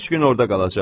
Üç gün orada qalacaq.